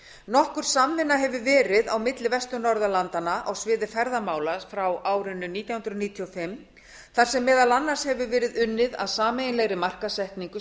nokkur samvinna hefur verið milli vestur norðurlanda á sviði ferðamála frá árinu nítján hundruð níutíu og fimm þar sem meðal annars hefur verið unnið að sameiginlegri markaðssetningu